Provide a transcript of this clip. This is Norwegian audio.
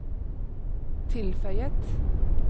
tilføyet